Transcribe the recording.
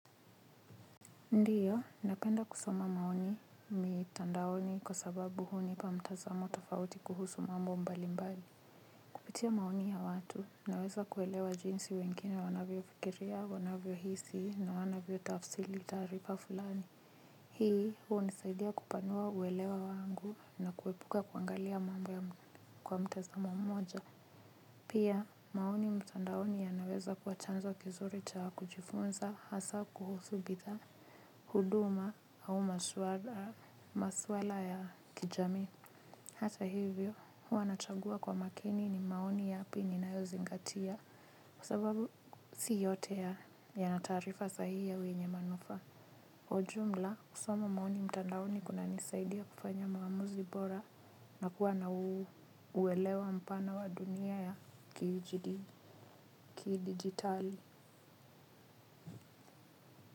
Ndiyo, napenda kusoma maoni mitandaoni kwa sababu hunipa mtazamo tofauti kuhusu mambo mbali mbali. Kupitia maoni ya watu, naweza kuelewa jinsi wengine wanavyo fikiria, wanavyo hisi na wanavyo tafsili tarifa fulani. Hii, huwa hunisaidia kupanua uwelewa wangu na kuepuka kuangalia mambo ya mtazamo mmoja. Pia, maoni mtandaoni yanaweza kuwa chanzo kizuri cha kujifunza hasa kuhusu bidhaa. Huduma au maswala ya kijami hata hivyo huwq nachagua kwa makini ni maoni yapi ninayozingatia kwa sababu si yote ya yaana taarifa sawia yenye manufaa kwa jumla, kusoma maoni mtandaoni kunanisaidia kufanya maamuzi bora na kuwa na uwelewa mpana wa dunia ya kijidigitali.